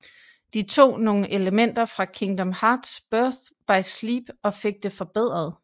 De tog nogle elementer fra Kingdom Hearts Birth by Sleep og fik det forbedret